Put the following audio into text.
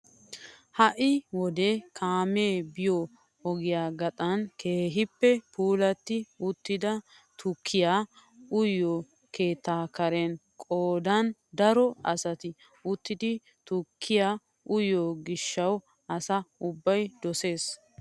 Ha'i wode kaamee biyoo ogiyaa gaxan keehippe pulatti uttida tukkiyaa uyiyoo keetta karen qoodan daro asay uttidi tukkiyaa uyiyoo gishshawu asa ubbay dosees!